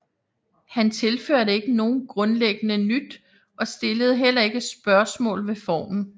Han tilførte ikke nogen grundleggende nyt og stillede heller ikke spørgsmål ved formen